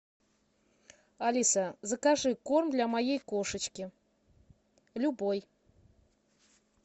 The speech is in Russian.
алиса закажи корм для моей кошечки любой